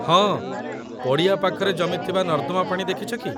ହଁ, ପଡ଼ିଆ ପାଖରେ ଜମିଥିବା ନର୍ଦ୍ଦମା ପାଣି ଦେଖିଛ କି?